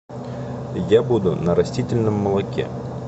я буду на растительном молоке